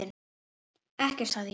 Ekkert sagði ég.